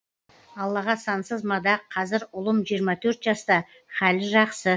аллаға сансыз мадақ қазір ұлым жиырма төрт жаста хәлі жақсы